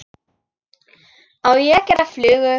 Á ég að gera flugu?